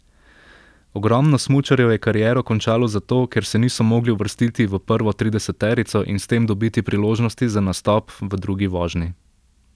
Ogromno smučarjev je kariero končalo zato, ker se niso mogli uvrstiti v prvo trideseterico in s tem dobiti priložnosti za nastop v drugi vožnji.